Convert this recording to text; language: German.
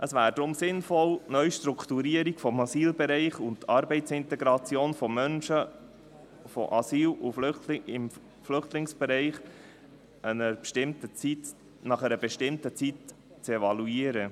Es wäre deshalb sinnvoll, die Neustrukturierung des Asylbereichs und die Arbeitsintegration von Menschen aus dem Asyl- und Flüchtlingsbereich, nach einer bestimmten Zeit zu evaluieren.